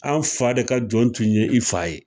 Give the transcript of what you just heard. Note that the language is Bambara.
An fa de ka jɔn tun ye i fa ye